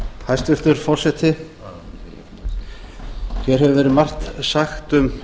hæstvirtur forseti hér hefur verið margt sagt um